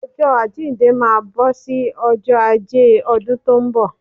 Ọjọ́ àjíǹde máa bọ́ sí ọjọ́ Ajé ọdún tó bọ̀